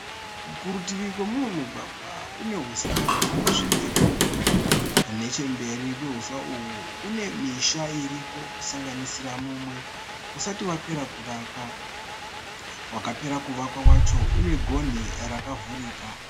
Kurutivi kwemumwe mugwagwa kune huswa hwakasvibira. Nechemberi kwehuswa uhwu kune misha iriko kusanganisira mumwe usati yapera kuvakwa. Wakapera kuvakwa wacho une gonhi rakavhurika